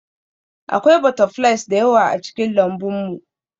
Akwai butterflies da yawa a cikin lambun mu